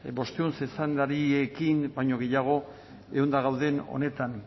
bostehun baino gehiago gauden honetan